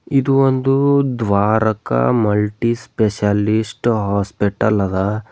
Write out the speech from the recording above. ಇದು ಒಂದು Dwarka multi specialist hospital ಅದಾ.